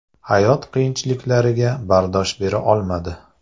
Hayot qiyinchiliklariga bardosh bera olmadi.